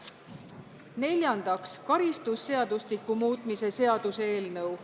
Neljandaks, karistusseadustiku muutmise seaduse eelnõu.